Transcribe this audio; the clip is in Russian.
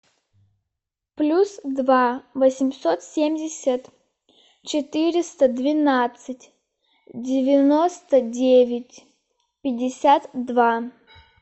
плюс два восемьсот семьдесят четыреста двенадцать девяносто девять пятьдесят два